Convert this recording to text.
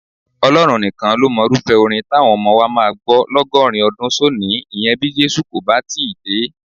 Ọlọ́run nìkan ló mọrúfẹ́ orin táwọn ọmọ wa máa gbọ́ lọ́gọ́rin ọdún sónìí, ìyẹn bí Jésù kò bà tíì dé.